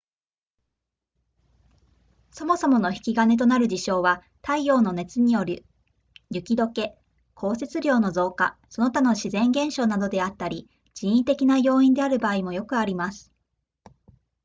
そもそもの引き金となる事象は太陽の熱による雪解け降雪量の増加その他の自然現象などであったり人為的な要因である場合もよくあります